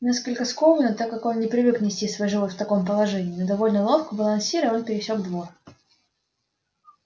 несколько скованно так как он не привык нести свой живот в таком положении но довольно ловко балансируя он пересёк двор